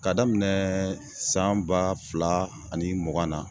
K'a daminɛɛ san ba fila ani mugan na